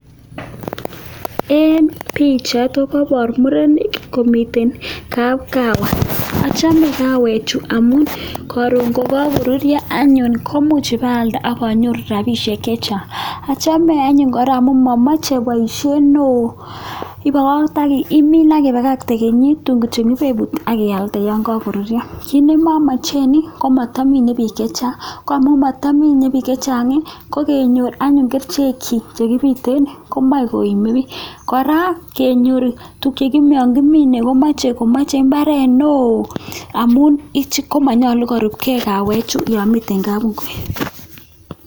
En picha koboru murenik ko miten kabkawa. Achame kawechu amun karon ya kokururio anyun ko much abaalde akanyoru robishek che chang. Achame anyun kora amun mamache boishe neoo imine akibakakte en kenyit, tun kityo ibebut akialde yan kakorurio. Kiit kityo ne mamachen ko mamine biik che chang, ko mata mine biik che chang ko kenyor anyon kerchek chich che kibiten komae koime biik. Kora kenyor tukchon kimine komache mbaret neoo ichi ko manyolu korubgei kawechu yamiten kabngui.